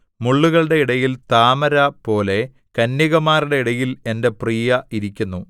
മുള്ളുകളുടെ ഇടയിൽ താമരപോലെ കന്യകമാരുടെ ഇടയിൽ എന്റെ പ്രിയ ഇരിക്കുന്നു